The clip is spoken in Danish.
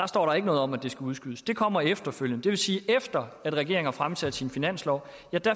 står der ikke noget om at det skal udskydes det kommer efterfølgende det vil sige at efter at regeringen har fremsat sin finanslov